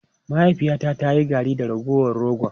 Mahaifiyata ta yi garri da ragowar rogon.